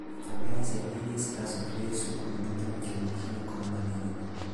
namba ya ciana iria citacokire cukuru thutha wa kĩng'uki gĩa korona nĩ nene.